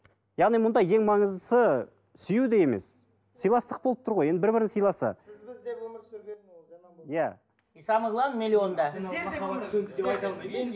яғни мұнда ең маңыздысы сүю де емес сыйластық болып тұр ғой енді бір бірін сыйласа иә самое главное миллионда